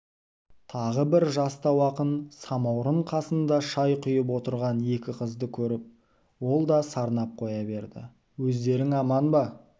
тағы бір жастау ақын самауырын қасында шай құйып отырған екі қызды көріп ол да сарнап қоя берді өздерің аман ба